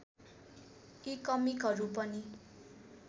यी कमिकहरू पनि